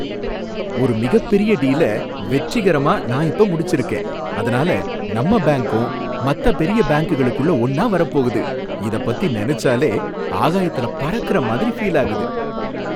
ஒரு மிகப்பெரிய டீல வெற்றிகரம நான் இப்ப முடிச்சிருக்கேன், அதுனால நம்ப பேங்கும் மத்த பெரிய பாங்குகளுக்குள்ள ஒன்னா வரபோகுது, இதப் பத்தி நெனச்சாலே ஆகாயத்துல பறக்கறமாதிரி ஃபீல் ஆகுது.